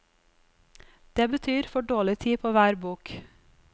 Det betyr for dårlig tid på hver bok.